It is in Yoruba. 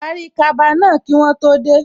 Parí kaba náà kí wọ́n tó dé